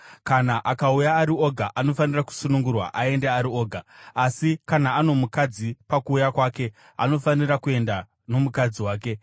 Kana akauya ari oga, anofanira kusunungurwa aende ari oga; asi kana ano mukadzi pakuuya kwake, anofanira kuenda nomukadzi wake.